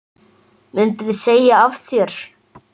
Myndirðu segja af þér?